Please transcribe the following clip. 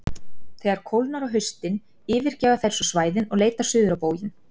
Þegar kólnar á haustin yfirgefa þær svo svæðin og leita suður á bóginn.